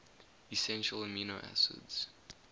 essential amino acids